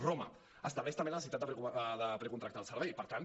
roma estableix també la necessitat de precontractar el servei per tant